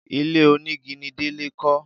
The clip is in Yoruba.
Ilé onígi ni Délé kọ́